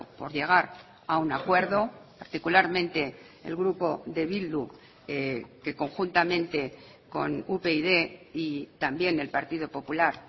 por llegar a un acuerdo particularmente el grupo de bildu que conjuntamente con upyd y también el partido popular